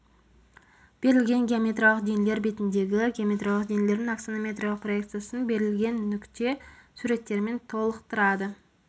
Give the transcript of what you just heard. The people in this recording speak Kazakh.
берілген геометриялық денелер бетіндегі геометриялық денелердің аксонометриялық проекциясын берілген нүкте суреттерімен толықтырады